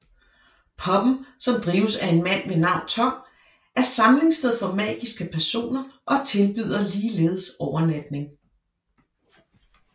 Pubben som drives af en mand ved navn Tom er samlingssted for magiske personer og tilbyder ligeledes overnatning